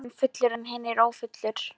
En því var sko ekki að heilsa.